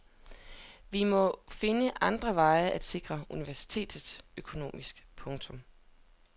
Vi må finde andre veje at sikre universitetet økonomisk. punktum